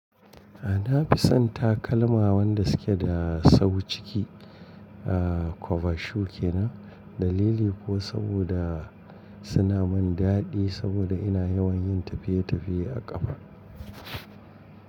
A nafi son takalma wanda suke da sau ciki a kwaba shu kenan. Dalili kuwa saboda suna mun daɗi saboda ina yawan yin tafiye tafiye a ƙafa.